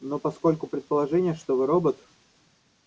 но поскольку предположение что вы робот